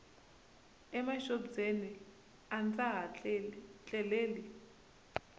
emaxobyeni a ndza ha tleleli